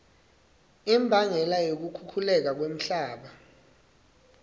imbangela yokukhukhuleka komhlaba